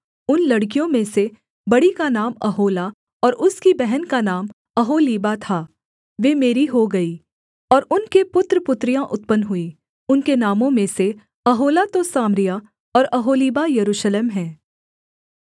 उन लड़कियों में से बड़ी का नाम ओहोला और उसकी बहन का नाम ओहोलीबा था वे मेरी हो गई और उनके पुत्र पुत्रियाँ उत्पन्न हुईं उनके नामों में से ओहोला तो सामरिया और ओहोलीबा यरूशलेम है